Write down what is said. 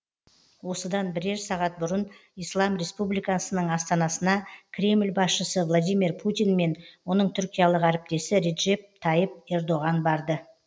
осыдан бірер сағат бұрын ислам республикасының астанасына кремль басшысы владимир путин мен оның түркиялық әріптесі реджеп тайып ердоған барды